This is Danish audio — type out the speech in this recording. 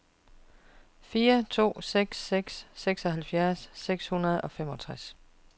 fire to seks seks seksoghalvfjerds seks hundrede og femogtres